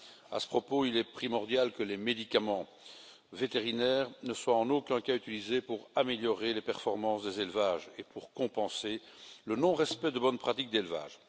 À ce propos, il est primordial que les médicaments vétérinaires ne soient en aucun cas utilisés pour améliorer les performances des élevages et pour compenser le non respect de bonnes pratiques d'élevage.